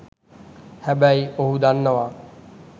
හැබැයි ඔහු දන්නවා